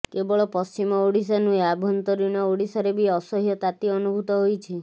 କେବଳ ପଶ୍ଚିମ ଓଡିଶା ନୁହେଁ ଆଭନ୍ତରୀଣ ଓଡିଶାରେ ବି ଅସହ୍ୟ ତାତି ଅନୁଭୂତ ହୋଇଛି